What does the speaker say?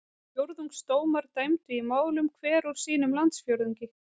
Fjórðungsdómar dæmdu í málum hver úr sínum landsfjórðungi.